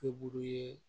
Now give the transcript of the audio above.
Be buru ye